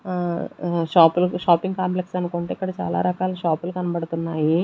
ఆహ్ um shop shopping complex అనుకుంటా ఇక్కడ రకాల షాప్లు కనబడుతున్నాయి.